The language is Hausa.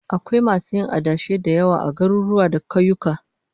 Akwai masu yin adashi da yawa a garuruwa da kauyuka